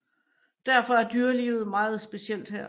Derfor er dyrelivet meget specielt her